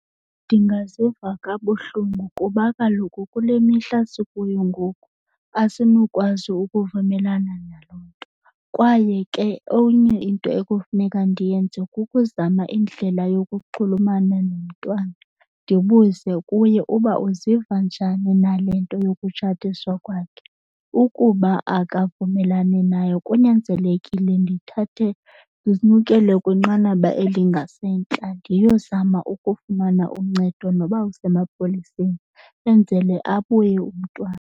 Ndingaziva kabuhlungu kuba kaloku kule mihla sikuyo ngoku asinokwazi ukuvumelana naloo nto. Kwaye ke enye into ekufuneka ndiyenze kukuzama indlela yokuxhulumana nomntwana, ndibuze kuye uba uziva njani nale nto yokutshatiswa kwakhe. Ukuba akavumelani nayo kunyanzelekile ndithathe ndinyukele kwinqanaba elingasentla ndiyozama ukufumana uncedo noba kusemapoliseni enzele abuye umntwana.